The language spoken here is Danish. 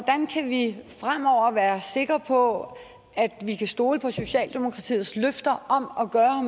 sikre på at vi kan stole på socialdemokratiets løfter om at gøre